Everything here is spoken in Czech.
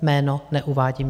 Jméno neuvádím.